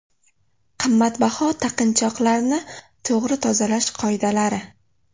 Qimmatbaho taqinchoqlarni to‘g‘ri tozalash qoidalari.